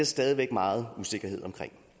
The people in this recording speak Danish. stadig væk meget usikkerhed om